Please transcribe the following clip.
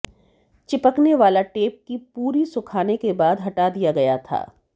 चिपकने वाला टेप की पूरी सुखाने के बाद हटा दिया गया था